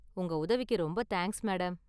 உங்க உதவிக்கு ரொம்ப தேங்க்ஸ், மேடம்.